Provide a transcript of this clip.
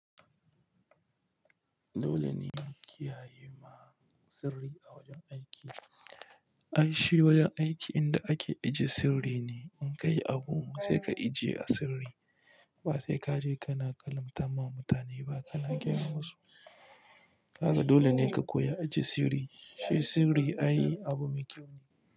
Dole ne in ki yaye ma sirri a wajen aiki. Ai shi wajen aiki inda ake ajiye sirri ne. In ka yi abu sai ka ijiye a sirri. Ba sai ka je ka na kalantama mutane ba ka na gayama su. Kaga dole ne ka koya ajiye sirri. Shi sirri ayi abu mai kyau ne.